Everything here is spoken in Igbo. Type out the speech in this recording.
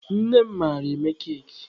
Nne m mara eme keki.